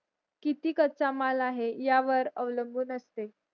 किती कच्चा माल आहे या वर अवलंबून असते